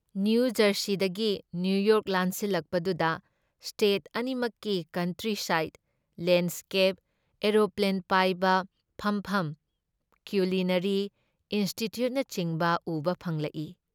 ꯅꯤꯌꯨꯖꯔꯁꯤꯗꯒꯤ New York ꯂꯥꯟꯁꯤꯜꯂꯛꯄꯗꯨꯗ state ꯑꯅꯤꯃꯛꯀꯤ country ꯁꯥꯏꯗ, ꯂꯦꯟꯗ ꯁ꯭ꯀꯦꯞ, ꯑꯦꯔꯣꯄ꯭ꯂꯦꯟ ꯄꯥꯏꯕ ꯐꯝꯐꯝ, ꯀꯤꯎꯂꯤꯅ꯭ꯌꯥꯔꯤ ꯏꯟꯁꯇꯤꯇ꯭ꯌꯨꯠꯅꯆꯤꯡꯕ ꯎꯕ ꯐꯪꯂꯛꯏ ꯫